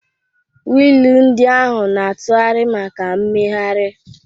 Wiil ndị ahụ na-atụgharị maka mmegharị.